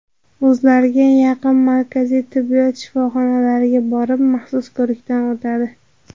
O‘zlariga yaqin markaziy tibbiyot shifoxonalariga borib maxsus ko‘rikdan o‘tadi.